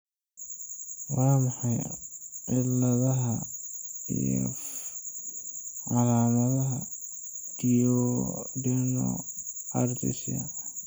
Waa maxay calaamadaha iyo calaamadaha duodenal atresia?